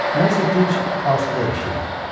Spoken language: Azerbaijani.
Mən isə dinc, asudə yaşayıram.